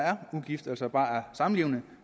er ugifte altså bare er samlevende